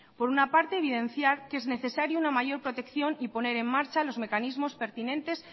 por una parte evidenciar que es necesaria una mayor protección y poner en marcha los mecanismos pertinentes